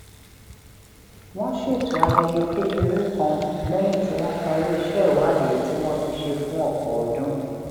wón ṣètò ayẹyẹ kékeré kan léyìn tí wón parí iṣé ìwádìí tí wón ti ṣe fún òpò ọdún